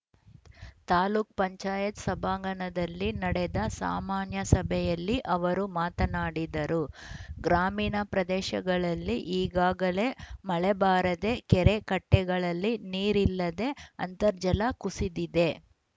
ತಾಲೂಕ್ ಪಂಚಾಯತ್ ಸಭಾಂಗಣದಲ್ಲಿ ನಡೆದ ಸಾಮಾನ್ಯ ಸಭೆಯಲ್ಲಿ ಅವರು ಮಾತನಾಡಿದರು ಗ್ರಾಮೀಣ ಪ್ರದೇಶಗಳಲ್ಲಿ ಈಗಾಗಲೇ ಮಳೆಬಾರದೇ ಕೆರೆ ಕಟ್ಟೆಗಳಲ್ಲಿ ನೀರಿಲ್ಲದ ಅಂತರ್ಜಲ ಕುಸಿದಿದೆ